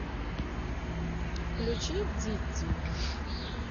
включи дидди